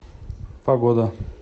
погода